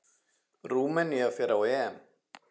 Rúmenía fer á EM.